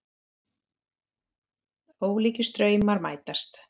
Ólíkir straumar mætast